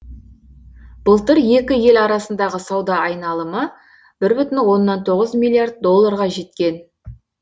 былтыр екі ел арасындағы сауда айналымы бір бүтін оннан тоғыз миллиард долларға жеткен